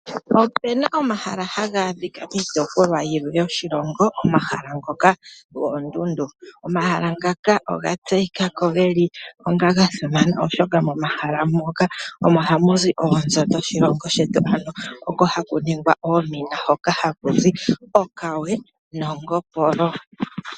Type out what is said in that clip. Opu na omahala haga adhika kiitopolwa yilwe yoshilongo, omahala ngoka goondundu. Omahala ngaka oga tseyika ko onga ga simana, oshoka momahala moka ohamu zi oonzo dhoshilongo shetu. Oko ku na oomina hoka haku zi okawe nongopolo.